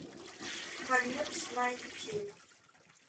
конец найти